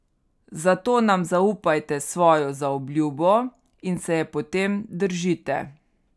Zato nam zaupajte svojo zaobljubo in se je potem držite.